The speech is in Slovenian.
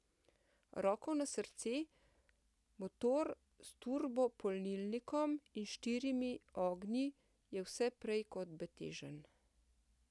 Roko na srce, motor s turbopolnilnikom in štirimi ognji je vse prej kot betežen.